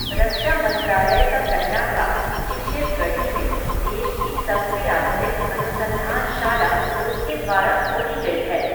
रक्षा मन्त्रालय का कहना था, कि शिवगढ़ी में, देश की सबसे आधुनिक अनुसन्धान शाला, उसके द्वारा खोली गयी है